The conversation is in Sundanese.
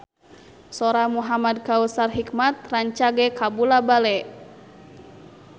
Sora Muhamad Kautsar Hikmat rancage kabula-bale